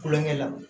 Kulonkɛ la